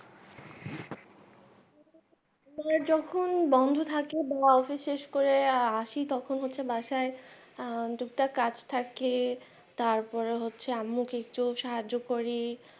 যখন বন্ধ থাকে বা office শেষ করে আসি তখন হচ্ছে বাসায় আহ টুকটাক কাজ থাকে তারপর হচ্ছে আম্মু কিছু সাহায্য করি.